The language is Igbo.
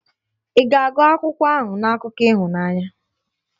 Ị ga-agụ akwụkwọ ahụ na akụkọ ịhụnanya?.